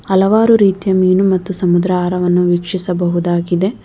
ಹಲವಾರು ರೀತಿಯ ಮೀನು ಮತ್ತು ಸಮುದ್ರ ಆಹಾರವನ್ನು ವೀಕ್ಷಿಸಬಹುದಾಗಿದೆ.